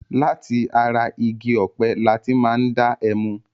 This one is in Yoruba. Láti ara igi ọ̀pẹ lati máa ń dá ẹmu.